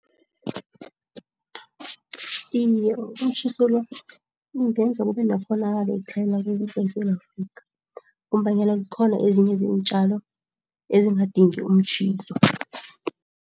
Iye umtjhiso lo ungenza kube nekghonakalo yokutlhayela ukudla eSewula Afrika ngombanyana zikhona ezinye zeentjalo ezingadingi umtjhiso.